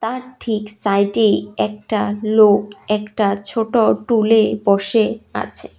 তার ঠিক সাইডেই একটা লোক একটা ছোট টুলে বসে আছে।